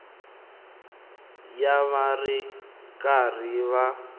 ya va ri karhi va